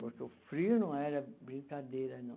Porque o frio não era brincadeira, não.